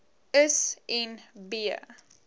is en b